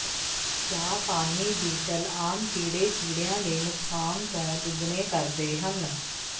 ਜਾਪਾਨੀ ਬੀਟਲ ਆਮ ਕੀੜੇ ਕੀੜਿਆਂ ਦੇ ਨੁਕਸਾਨ ਤੋਂ ਦੁੱਗਣੇ ਕਰਦੇ ਹਨ